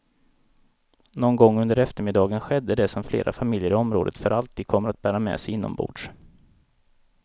Någon gång under eftermiddagen skedde det som flera familjer i området för alltid kommer att bära med sig inombords.